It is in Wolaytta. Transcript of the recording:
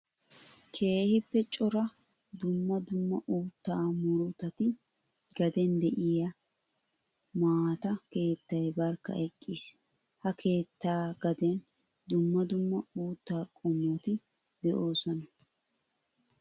Keehippe cora dumma dumma uutta muruttati gaden de'iyo maata keettay barkka eqqiis. Ha keetta gaden dumma dumma uutta qommotti de'osona.